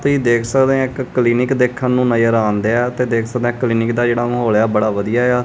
ਤੁਸੀਂ ਦੇਖ ਸਕਦੇ ਹੈ ਇੱਕ ਕਲੀਨਿਕ ਦੇਖਣ ਨੂੰ ਨਜ਼ਰ ਆਂਨ ਦੇਆ ਤੇ ਦੇਖ ਸਕਦੇ ਆ ਕਲੀਨਿਕ ਦਾ ਜਿਹੜਾ ਮਾਹੌਲ ਆ ਬੜਾ ਵਧੀਆ ਆ।